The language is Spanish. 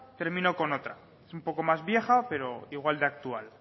termino con otra es un poco más vieja pero igual de actual